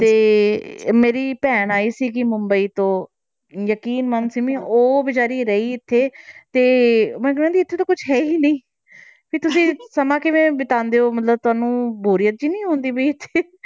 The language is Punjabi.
ਤੇ ਮੇਰੀ ਭੈਣ ਆਈ ਸੀਗੀ ਮੁੰਬਈ ਤੋਂ ਯਕੀਨ ਮੰਨ ਸਿੰਮੀ ਉਹ ਬੇਚਾਰੀ ਰਹੀ ਇੱਥੇ ਤੇ ਮੈਨੂੰ ਕਹਿੰਦੀ ਇੱਥੇ ਤਾਂ ਕੁਛ ਹੈ ਹੀ ਨਹੀਂ ਵੀ ਤੁਸੀਂ ਸਮਾਂ ਕਿਵੇਂ ਬਿਤਾਉਂਦੇ ਹੋ ਮਤਲਬ ਤੁਹਾਨੂੰ ਬੋਰੀਅਤ ਨੀ ਹੁੰਦੀ ਵੀ ਇੱਥੇ